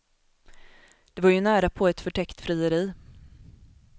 Det var ju närapå ett förtäckt frieri.